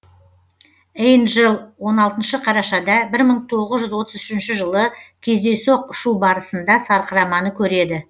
эйнджел он алтыншы қарашада бір мың тоғыз жүз отыз үшінші жылы кездейсоқ ұшу барысында сарқыраманы көреді